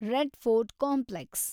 red Fort complex